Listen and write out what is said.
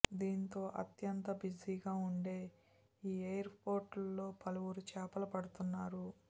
దీంతో అత్యంత బిజీగా ఉండే ఈ ఎయిర్పోర్ట్లో పలువురు చేపలు పడుతున్నారు